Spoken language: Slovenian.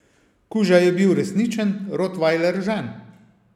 Kuža je bil resničen, rotvajler Žan.